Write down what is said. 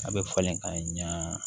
A bɛ falen ka ɲa